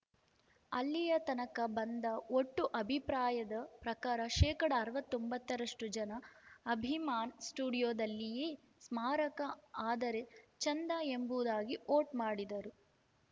ಅಲ್ಲಿಯತನಕ ಬಂದ ಒಟ್ಟು ಅಭಿಪ್ರಾಯದ ಪ್ರಕಾರ ಶೇಕಡಾ ಅರವತ್ತೊಂಬತ್ತರಷ್ಟು ಜನ ಅಭಿಮಾನ್‌ ಸ್ಟುಡಿಯೋದಲ್ಲಿಯೇ ಸ್ಮಾರಕ ಆದರೆ ಚಂದ ಎಂಬುದಾಗಿ ವೋಟ್‌ ಮಾಡಿದರು